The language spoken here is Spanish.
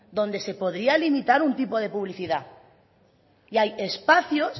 donde se podría limitar un tipo de publicidad y hay espacios